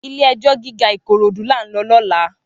Ilé èjò gigá Ikorodu lá n lò lòlá